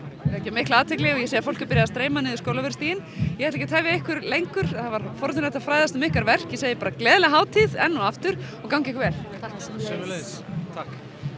þeir vekja mikla athygli og ég sé að fólk er byrjað að streyma niður Skólavörðustíginn ég ætla ekki að tefja ykkur lengur það var forvitnilegt að fræðast um ykkar verk ég segi bara gleðilega hátíð enn og aftur og gangi ykkur vel takk sömuleiðis þá